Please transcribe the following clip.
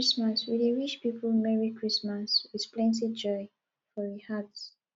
for christmas we dey wish pipo merry christmas with plenty joy for we heart